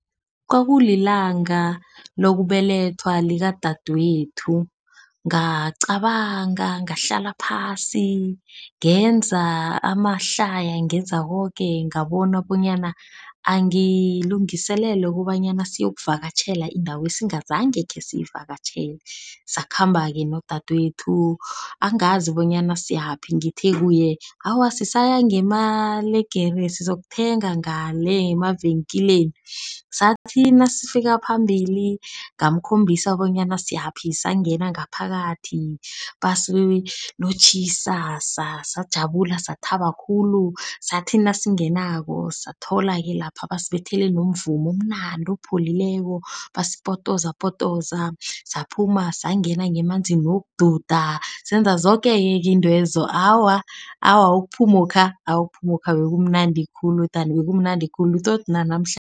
Kwakulilanga lokubelethwa likadadwethu ngacabanga, ngahlala phasi ngenza amahlaya, ngenza koke. Ngabona bonyana angilungiselele ukobanyana siyokuvakatjhela indawo esingazange khesiyivakatjhele. Sakhamba-ke nodadwenu angazi bonyana siyaphi. Ngithe kuye awa sisaya ngemalegere, sizokuthenga ngale emavikilini. Sathi nasifika phambili ngamukhombisa bonyana siyaphi, sangena ngaphakathi. Basilotjhisa sajabulani, sathaba khulu, sathi nasingenako. Satholake lapha basibethela nomvumo omnandi opholileko, basipotoza potoza. Saphuma, sangena ngemanzini wokududa. Senza zoke keke iintwezo. Awa, awa ukuphumokha, ukuphumokha bekumnandi khulu dani bekumnandi khulu tot